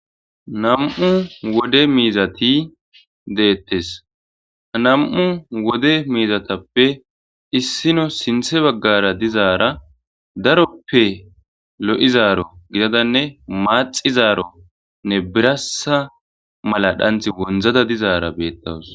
nam7u wode miizati deettes nam7u wode miizatappe issino sinthe baggara dizaara daroppe lo7izaaro gidadanne maaxizaaronne birasa mala dhanth wondzada dizaara beettawus